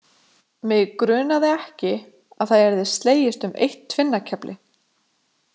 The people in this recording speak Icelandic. Mig grunaði ekki að það yrði slegist um eitt tvinnakefli.